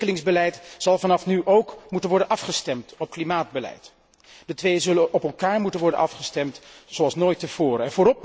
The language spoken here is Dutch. Ontwikkelingsbeleid zal vanaf nu ook moeten worden afgestemd op klimaatbeleid. De twee zullen op elkaar moeten worden afgestemd zoals nooit tevoren.